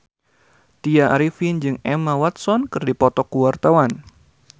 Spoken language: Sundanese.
Tya Arifin jeung Emma Watson keur dipoto ku wartawan